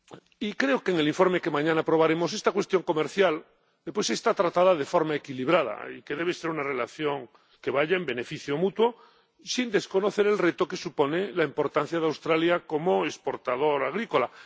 Y creo que en el informe que mañana aprobaremos esta cuestión comercial está tratada de forma equilibrada y que debe ser una relación que vaya en beneficio mutuo, sin desconocer el reto que supone la importancia de Australia como exportador agrícola.